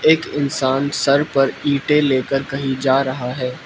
एक इंसान सर पर ईंटे लेकर कहीं जा रहा है।